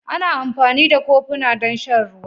Ana amfani da kofuna don shan ruwa